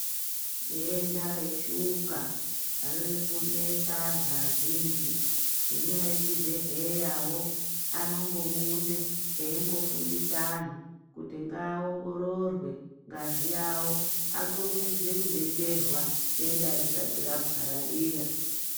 Denda reshuka ririkunesa antu azhinji. Hino echibhedhleyavo anombobude eimbofundise antu kuti ngaongororwe ngazi yavo. Akurumidze kubetserwa denda risati rapararira.